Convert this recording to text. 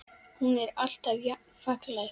Hún er alltaf jafn falleg.